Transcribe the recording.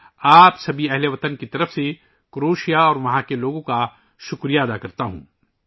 آپ تمام ہم وطنوں کی طرف سے، میں کروشیا اور اس کے لوگوں کا شکریہ ادا کرتا ہوں